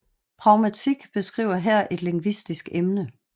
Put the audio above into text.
Pragmatik beskriver her et lingvistisk emne